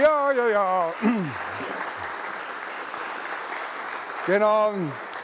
Ja-ja-jaa!